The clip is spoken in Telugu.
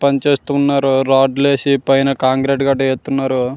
పనిచేస్తున్నారు రాడ్ వాసి పైన కాంక్రీట్ కట్టి ఇతున్నారు .